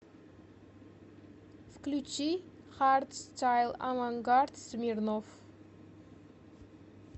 включи хардстайл авангард смирнов